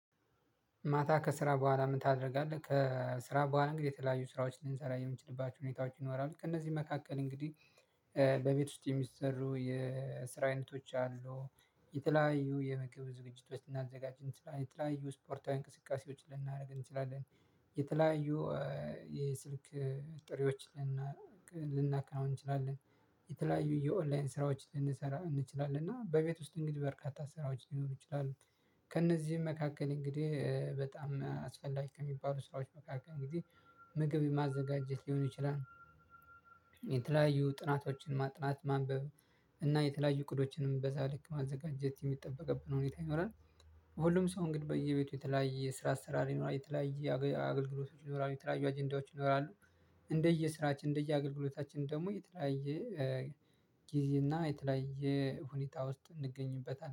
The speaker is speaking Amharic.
ማታ ከስራ በኋላ ምን ታደርጋለህ? ከስራ በኋላ እንግዲህ የተለያዩ ስራዎች ልንሰራ የምንችልባቸው ሁኔታዎች ይኖራሉ ከእነዚህ መካከል እንግዲህ በቤት ውስጥ የሚሰሩ የስራ አይነቶች አሉ። የተለያዩ የምግብ ዝግጅት ውስጥ እናዘጋጅ የተለያዩ ስፖርታዊ እንቅስቃሴዎችን ልናደርግ እንችላለን። የተለያዩ የስልክ ጥሬዎች ልናካው እንችላለን። የተለያዩ የኦንላይን ስራዎች ልንሰራ እንችላለን እና በቤት ውስጥ እንግዲህ በርካታ ስራዎች ሊኖሩ ይችላሉ። ከእነዚህም መካከል እንግዲህ በጣም አስፈላጊ ከሚባሉ ስራዎች መካከል እንግዲህ ምግብ የማዘጋጀት ሊሆኑ ይችላል። የተለያዩ ጥናቶችን ማጥናት ማንበብ እና የተለያዩ እቅዶችንም በዛ ልክ ማዘጋጀት የሚጠበቅብን ሁኔታ ይኖራል። ሁሉም ሰው እንግዲህ በየቤቱ የተለያየ ስራ አሰራር ይኖራል የተለያየ አገልግሎቶች ይኖራሉ የተለያየ አጀንዳዎች ይኖራሉ። እንደየስራችን እንደየአገልግሎታችን ደግሞ የተለያየ ጊዜ እና የተለያየ ሁኔታ ውስጥ እንገኝበታለን